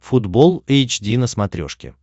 футбол эйч ди на смотрешке